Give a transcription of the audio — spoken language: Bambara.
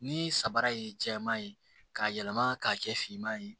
Ni samara ye jɛman ye k'a yɛlɛma k'a kɛ finman ye